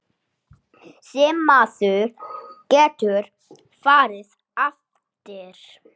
Sem maður getur farið eftir.